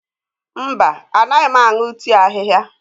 Mba, anaghị m aṅụ tii ahihia.